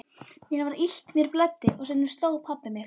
Mér var illt, mér blæddi og stundum sló pabbi mig.